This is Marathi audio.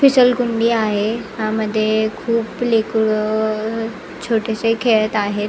फिसल गुडी आहे ह्यामध्ये मध्ये खुप लेकरं अ छोटेसे खेळत आहेत.